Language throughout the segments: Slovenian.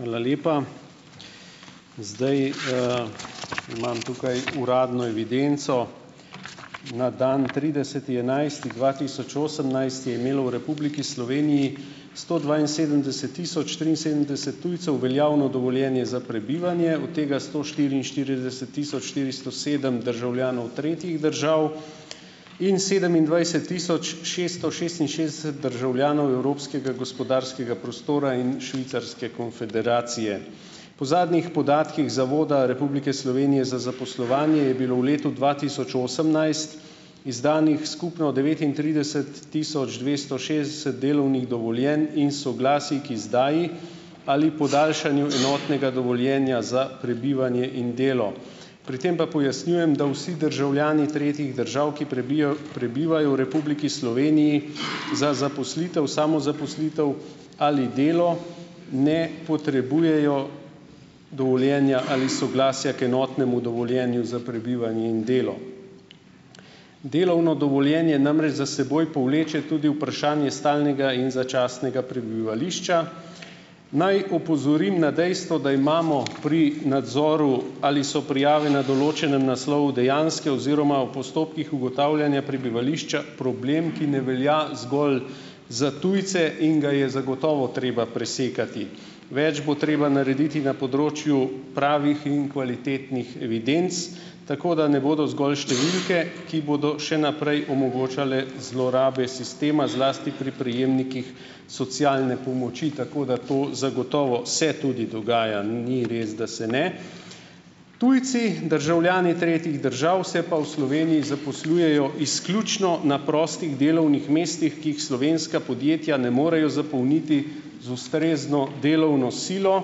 Hvala lepa. Zdaj, imam tukaj uradno evidenco. Na dan trideseti enajsti dva tisoč osemnajst je imelo v Republiki Sloveniji sto dvainsedemdeset tisoč triinsedemdeset tujcev veljavno dovoljenje za prebivanje, od tega sto štiriinštirideset tisoč štiristo sedem državljanov tretjih držav in sedemindvajset tisoč šeststo šestinšestdeset državljanov Evropskega gospodarskega prostora in Švicarske konfederacije. Po zadnjih podatkih Zavoda Republike Slovenije za zaposlovanje je bilo v letu dva tisoč osemnajst izdanih skupno devetintrideset tisoč dvesto šestdeset delovnih dovoljenj in soglasij k izdaji ali podaljšanju enotnega dovoljenja za prebivanje in delo. Pri tem pa pojasnjujem, da vsi državljani tretjih držav, ki prebijo, prebivajo v Republiki Sloveniji, za zaposlitev, samozaposlitev ali delo ne potrebujejo dovoljenja ali soglasja k enotnemu dovoljenju za prebivanje in delo. Delovno dovoljenje namreč za seboj povleče tudi vprašanje stalnega in začasnega prebivališča. Naj opozorim na dejstvo, da imamo pri nadzoru, ali so prijave na določenem naslovu dejanske oziroma v postopkih ugotavljanja prebivališča, problem, ki ne velja zgolj za tujce in ga je zagotovo treba presekati. Več bo treba narediti na področju pravih in kvalitetnih evidenc, tako da ne bodo zgolj številke, ki bodo še naprej omogočale zlorabe sistema, zlasti pri prejemnikih socialne pomoči. Tako da to zagotovo se tudi dogaja. Ni res, da se ne. Tujci, državljani tretjih držav, se pa v Sloveniji zaposlujejo izključno na prostih delovnih mestih, ki jih slovenska podjetja ne morejo zapolniti z ustrezno delovno silo,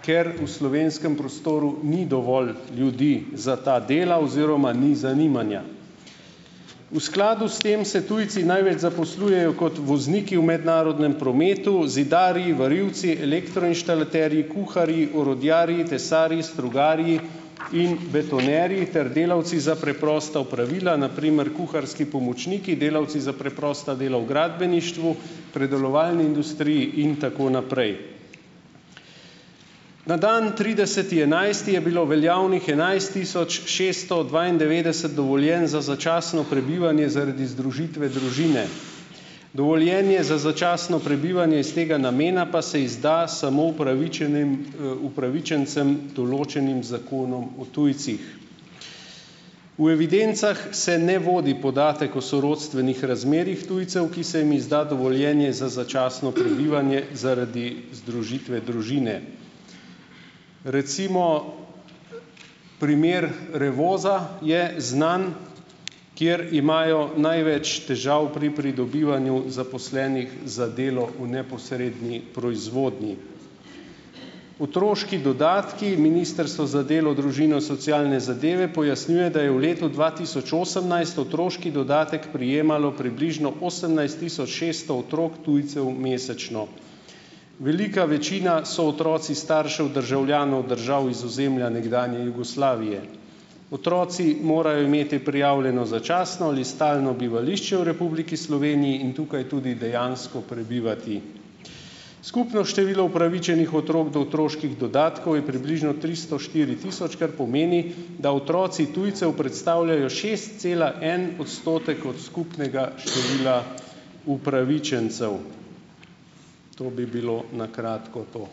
ker v slovenskem prostoru ni dovolj ljudi za ta dela oziroma ni zanimanja. V skladu s tem se tujci največ zaposlujejo kot vozniki v mednarodnem prometu, zidarji, varilci, elektroinštalaterji, kuharji, orodjarji, tesarji, strugarji in betonerji ter delavci za preprosta opravila, na primer kuharski pomočniki, delavci za preprosta dela v gradbeništvu, predelovalni industriji in tako naprej. Na dan trideseti enajsti je bilo veljavnih enajst tisoč šeststo dvaindevetdeset dovoljenj za začasno prebivanje zaradi združitve družine. Dovoljenje za začasno prebivanje iz tega namena pa se izda samo upravičenim, upravičencem, določenim z Zakonom o tujcih. V evidencah se ne vodi podatek o sorodstvenih razmerjih tujcev, ki se jim izda dovoljenje za začasno prebivanje zaradi združitve družine. Recimo primer Revoza je znan. Kjer imajo največ težav pri pridobivanju zaposlenih za delo v neposredni proizvodnji. Otroški dodatki. Ministrstvo za delo, družino, socialne zadeve pojasnjuje, da je v letu dva tisoč osemnajst otroški dodatek prejemalo približno osemnajst tisoč šeststo otrok tujcev mesečno. Velika večina so otroci staršev državljanov držav iz ozemlja nekdanje Jugoslavije. Otroci morajo imeti prijavljeno začasno ali stalno bivališče v Republiki Sloveniji in tukaj tudi dejansko prebivati. Skupno število upravičenih otrok do otroških dodatkov je približno tristo štiri tisoč, kar pomeni, da otroci tujcev predstavljajo šest cela en odstotek od skupnega števila upravičencev. To bi bilo na kratko to.